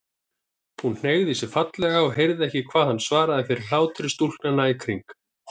Hún hneigði sig fallega og heyrði ekki hverju hann svaraði fyrir hlátri stúlknanna í kring.